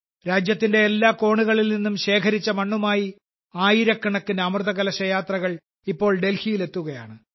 രാജ്യത്തിന്റെ എല്ലാ കോണുകളിൽ നിന്നും ശേഖരിച്ച മണ്ണുമായി ആയിരക്കണക്കിന് അമൃതകലശ യാത്രകൾ ഇപ്പോൾ ഡൽഹിയിൽ എത്തുകയാണ്